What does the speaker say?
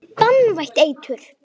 Banvænt eitur.